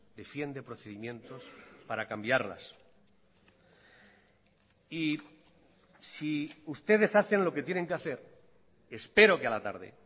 defiende procedimientos para cambiarlas y si ustedes hacen lo que tienen que hacer espero que a la tarde